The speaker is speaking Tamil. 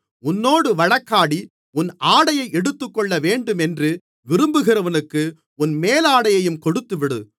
உன்னோடு வழக்காடி உன் ஆடையை எடுத்துக்கொள்ளவேண்டுமென்று விரும்புகிறவனுக்கு உன் மேலாடையையும் கொடுத்துவிடு